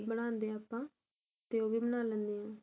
ਬਣਾਉਂਦੇ ਆ ਆਪਾਂ ਤੇ ਉਹ ਵੀ ਬਣਾ ਲੈਂਦੇ ਆ